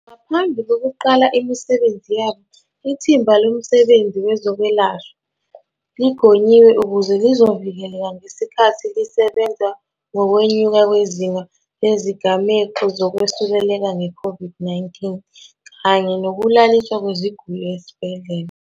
Ngaphambi kokuqala imisebenzi yabo, Ithimba Lomsebenzi Wezokwelashwa ligonyiwe ukuze lizovikeleka ngesikhathi lisebenza ngokwenyuka kwezinga lezigameko zokwesuleleka nge-COVID-19 kanye nokulaliswa kweziguli esibhedlela.